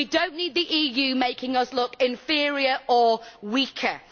We do not need the EU making us look inferior or weaker.